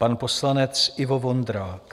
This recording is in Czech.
Pan poslanec Ivo Vondrák.